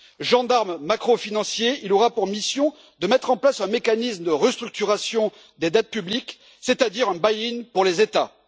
Gendarme macro financier, il aura pour mission de mettre en place un mécanisme de restructuration des dettes publiques, c'est à dire un buy in pour les États.